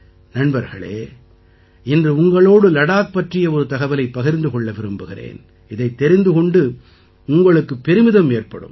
நண்பர்களே இன்று உங்களோடு லடாக் பற்றிய ஒரு தகவலைப் பகிர்ந்து கொள்ள விரும்புகிறேன் இதைத் தெரிந்து கொண்டு உங்களுக்குப் பெருமிதம் ஏற்படும்